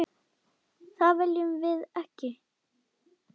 Það viljum við ekki.